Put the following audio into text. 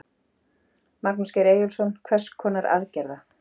Magnús Geir Eyjólfsson: Hvers konar aðgerða?